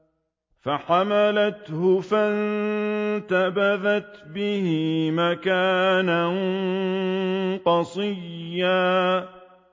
۞ فَحَمَلَتْهُ فَانتَبَذَتْ بِهِ مَكَانًا قَصِيًّا